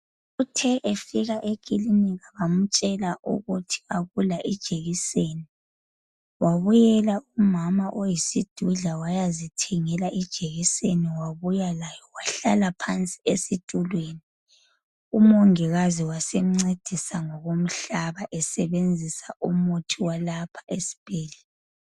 Uthe efika ekilinika bamtshela ukuthi akula jekiseni wabuyela umama oyisidudla wayazithengela wabuya layo wahlala phansi esitulweni . Umongikazi wasemncedisa ngokumhlaba esebenzisa umuthi walapha esibhedlela.